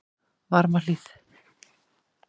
Varmahlíð